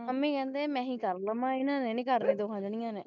mummy ਕਹਿੰਦੇ ਮੈਂ ਹੀ ਕਰ ਲੈਨੀ ਹਾਂ ਇਨ੍ਹਾਂ ਨੇ ਨਹੀਂ ਕਰਨੀ ਦੋਹਾਂ ਜਣਿਆਂ ਨੇ